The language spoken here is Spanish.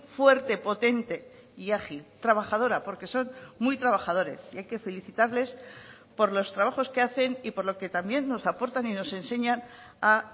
fuerte potente y ágil trabajadora porque son muy trabajadores y hay que felicitarles por los trabajos que hacen y por lo que también nos aportan y nos enseñan a